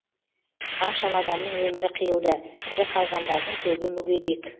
қаншама адамның өмірі қиылды тірі қалғандардың көбі мүгедек